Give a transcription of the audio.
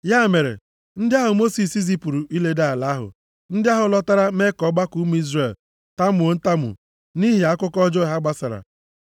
Ya mere ndị ahụ Mosis zipụrụ iledo ala ahụ, ndị ahụ lọtara mee ka ọgbakọ ụmụ Izrel tamuo ntamu nʼihi akụkọ ọjọọ ha gbasara.